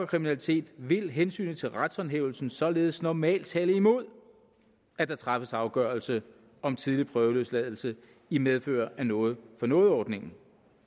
kriminalitet vil hensynet til retshåndhævelsen således normalt tale imod at der træffes afgørelse om tidlig prøveløsladelse i medfør af noget for noget ordningen